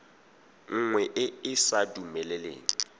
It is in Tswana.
nngwe e e sa dumeleleng